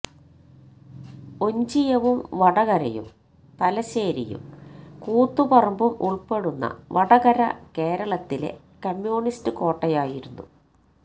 ഒഞ്ചിയവും വടകരയും തലശ്ശേരിയും കൂത്തുപറമ്പും ഉള്പ്പെടുന്ന വടകര കേരളത്തിലെ കമ്യൂണിസ്റ്റ് കോട്ടയായിരുന്നു